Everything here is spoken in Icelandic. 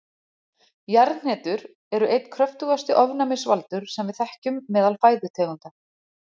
Jarðhnetur eru einn kröftugasti ofnæmisvaldur sem við þekkjum meðal fæðutegunda.